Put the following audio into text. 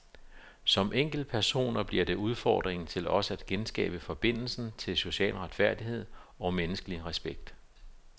Som enkeltpersoner bliver det udfordringen til os at genskabe forbindelsen til social retfærdighed og menneskelig respekt.